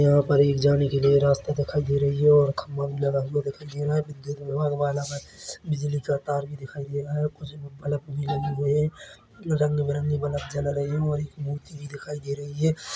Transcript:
वहाँ पर जाने के लिए एक रास्ता दिखाई दे रही है और खंबा भी लगा हुआ दिखाई दे रहा है विद्युत वाला बिजली का तार भी दिखाई दे रहा है और कुछ बल्ब भी लगे हुए है रंग-बिरंगे बल्ब जल रहे है और एक मूर्ति भी दिखाई दे रही है।